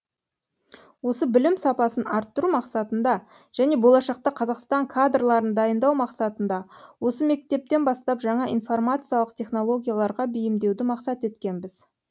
осы білім сапасын арттыру мақсатында және болашақта қазақстан кадрларын дайындау мақсатында осы мектептен бастап жаңа информациялық технологияларға бейімдеуді мақсат еткенбіз